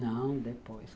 Não, depois.